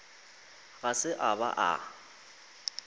ga se a ba a